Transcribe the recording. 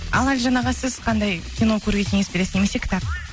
ал әлжан аға сіз қандай кино көруге кеңес бересіз немесе кітап